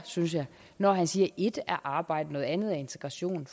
synes jeg når han siger at et er arbejde noget andet er integration